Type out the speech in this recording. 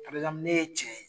parɛzanpulu ne ye cɛ ye